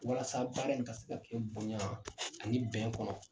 Walasa baara in ka se ka kɛ bonya ani bɛn kɔnɔ